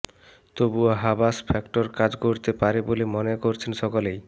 তবুও Habas factor কাজ করতে পারে বলে মনে করছে সকলেই